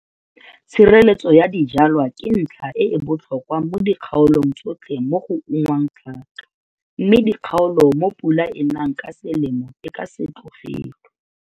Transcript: TSHIRELETSO YA DIJWALWA KE NTLHA E E BOTLHOKWA MO DIKGAOLONG TSOTLHE MO GO UNGWANG TLHAKA MME DIKGAOLO MO PULA E NANG KA SELEMO E KA SE TLOGELWE.